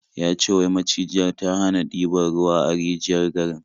Ya ce wai macijiyar ta hana diban ruwa a rijiyar garin.